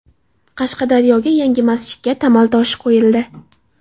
Qashqadaryoda yangi masjidga tamal toshi qo‘yildi.